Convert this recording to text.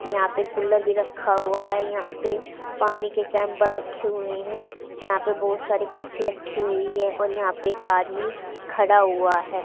यहां पे कुलर भी रखा हुआ है यहां पे पानी के कैंपर रखे हुए हैं यहां पे बहोत सारी कुर्सी रखी हुई है और यहां पर एक आदमी खड़ा हुआ है।